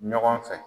Ɲɔgɔn fɛ